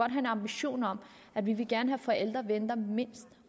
en ambition om at vi gerne at forældre venter mindst